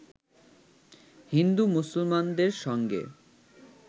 হিন্দু-মুসলমানদের সঙ্গে